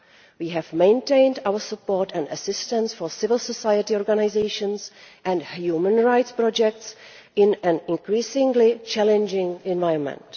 We have maintained our support and assistance for civil society organisations and human rights projects in an increasingly challenging environment.